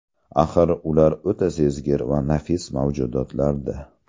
Axir, ular o‘ta sezgir va nafis mavjudotlar-da.